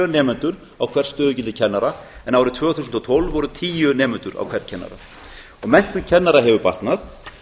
nemendur á hvert stöðugildi kennara en árið tvö þúsund og tólf voru tíu nemendur á hvern kennara og menntun kennara hefur batnað árið